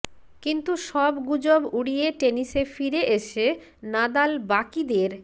কিন্তু সব গুজব উডি়য়ে টেনিসে ফিরে এসে নাদাল বাকিদের